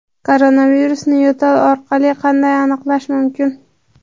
Koronavirusni yo‘tal orqali qanday aniqlash mumkin?.